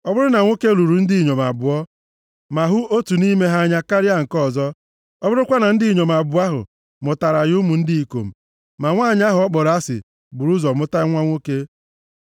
Ọ bụrụ na nwoke lụrụ ndị inyom abụọ, ma hụ otu nʼime ha nʼanya karịa nke ọzọ, ọ bụrụkwa na ndị inyom abụọ ahụ mụtaara ya ụmụ ndị ikom, ma nwanyị ahụ ọ kpọrọ asị buuru ụzọ mụta nwa nwoke,